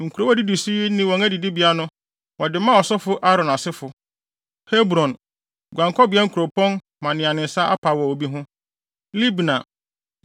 Nkurow a edidi so yi ne wɔn adidibea no wɔde maa ɔsɔfo Aaron asefo: Hebron (guankɔbea kuropɔn ma nea ne nsa apa wɔ obi ho), Libna,